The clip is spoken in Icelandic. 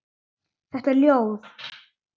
Þetta er ljóð.